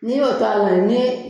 N'i y'o ta ni